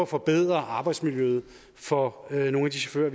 forbedre arbejdsmiljøet for nogle af de chauffører